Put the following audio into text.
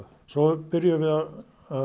svo byrjuðum við að